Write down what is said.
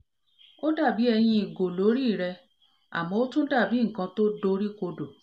ó dà bí ẹyin ìgò l'órí rẹ̀ àmọ́ ó tún dà bí nkan tó dori kodo